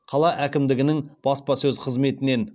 қала әкімдігінің баспасөз қызметінен